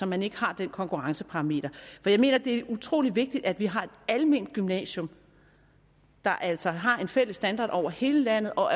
man ikke har den konkurrenceparameter for jeg mener at det er utrolig vigtigt at vi har et alment gymnasium der altså har en fælles standard over hele landet og